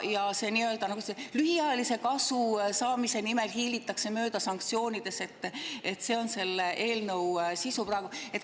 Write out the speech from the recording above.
Ja see, et lühiajalise kasu saamise nimel hiilitakse mööda sanktsioonidest, on selle eelnõu sisu.